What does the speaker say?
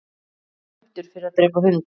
Dæmdur fyrir að drepa hund